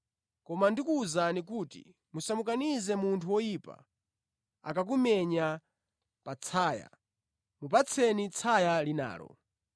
Koma ndikuwuzani kuti musamukanize munthu woyipa, akakumenya patsaya mupatseni tsaya linalo.